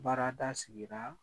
Baarada sigira